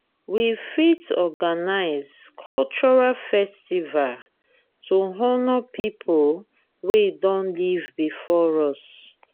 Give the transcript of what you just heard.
we fit organise culural festival to honour pipo wey don live before us